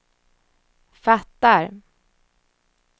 fattar